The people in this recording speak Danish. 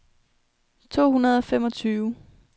to hundrede og femogtyve